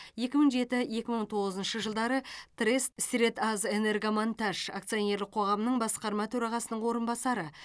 екі мың жеті екі мың тоғызыншы жылдары трест средазэнергомонтаж акционерлік қоғамының басқарма төрағасының орынбасары